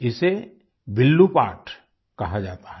इसे विल्लू पाट् कहा जाता है